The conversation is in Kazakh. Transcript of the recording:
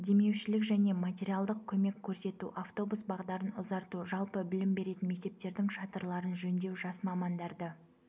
демеушілік және материалдық көмек көрсету автобус бағдарын ұзарту жалпы білім беретін мектептердің шатырларын жөндеу жас мамандарды